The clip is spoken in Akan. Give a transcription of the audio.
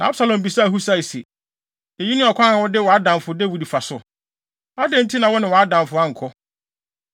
Na Absalom bisaa Husai se, “Eyi ne ɔkwan a wode wʼadamfo Dawid fa so? Adɛn nti na wo ne wʼadamfo ankɔ?”